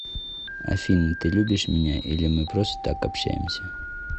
афина ты любишь меня или мы просто так общаемся